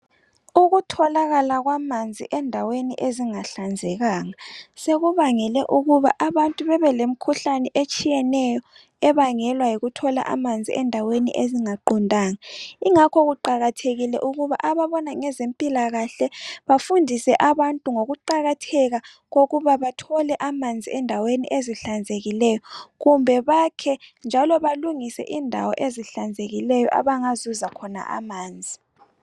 Ukutholakala kwamanzi endaweni ezingahlanzekanga sekubangele ukuba abantu bebe lemikhuhlane etshiyeneyo ebangelwa yikuthola amanzi endaweni ezingaqondanga yingakho kuqakathekile ukuba ababona ngezempilakahle bafundise abantu ngokuqakatheka kokuba bathole amanzi endaweni ezihlanzekileyo kumbe bakhe njalo balungise indawo ezihlanzekileyo abangazuza khona amanzi